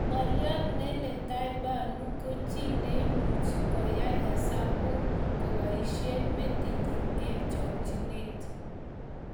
Ng'oliot Neeletha Bhanu ki chi neimuchi koai hesabuk koboisie metitnyi eng chokchinet